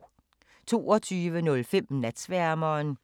22:15: Natsværmeren 02:30: Ugens playliste